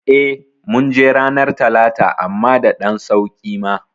Eh ,munje ranar talata amma da ɗan sauƙi ma